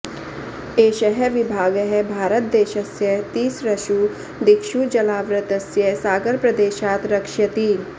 एषः विभागः भारतदेशस्य तिसृषु दिक्षु जलावृतस्य सागरप्रदेशात् रक्षयति